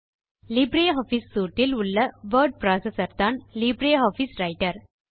Libre office suite இல் உள்ள word processorதான் லீப்ரே ஆஃபிஸ் ரைட்டர்